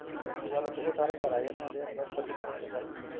ਉਸ ਤੇ ਬਾਅਦ ਚ ਉਹ ਸਾਰੇ ਘਰ ਆ ਜਾਂਦੇ ਆ ਟਰੱਕ ਹ ਚੱਲ ਪੈਂਦੇ ਆ